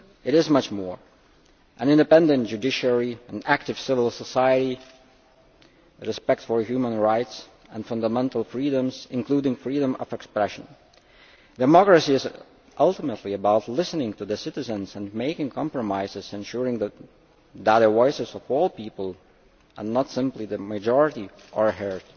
It is much more than that an independent judiciary, an active civil society and respect for human rights and fundamental freedoms, including freedom of expression. Democracy is ultimately about listening to citizens and making compromises, ensuring that the voices of all the people and not simply the majority are heard.